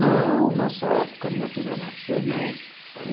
Não, nessa época minha filha nasceu, não.